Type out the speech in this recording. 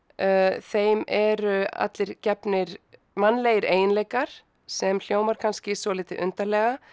þeim eru allir gefnir mannlegir eiginleikar sem hljómar kannski svolítið undarlega